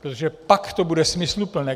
Protože pak to bude smysluplné.